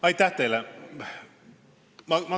Aitäh teile!